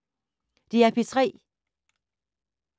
DR P3